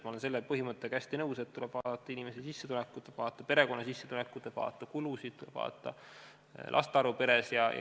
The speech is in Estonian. Ma olen selle põhimõttega hästi nõus, et tuleb vaadata inimese sissetulekut, tuleb vaadata perekonna sissetulekut, tuleb vaadata kulusid, tuleb vaadata laste arvu peres.